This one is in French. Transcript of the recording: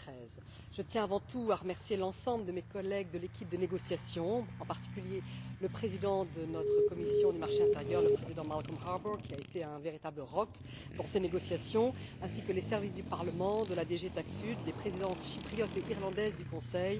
2013. Je tiens avant tout à remercier l'ensemble de mes collègues de l'équipe de négociation, en particulier le président de notre commission du marché intérieur, Malcolm Harbour, qui a été un véritable roc pour ces négociations, ainsi que les services du Parlement, de la DG TAXUD et les présidences chypriote et irlandaise du Conseil.